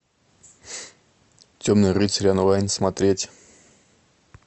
темный рыцарь онлайн смотреть